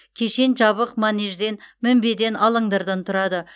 кешен жабық манежден мінбеден алаңдардан тұрады